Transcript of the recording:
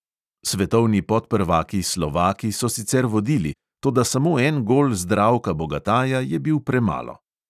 Svetovni podprvaki slovaki so sicer vodili, toda samo en gol zdravka bogataja je bil premalo.